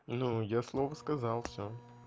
ну я слово сказал всё